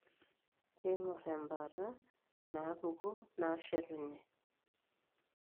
Keing'or embaata inaapuku naashetunye.